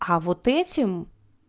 а вот этим